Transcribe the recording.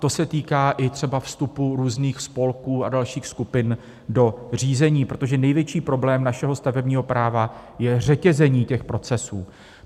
To se týká i třeba vstupu různých spolků a dalších skupin do řízení, protože největší problém našeho stavebního práva je řetězení těch procesů.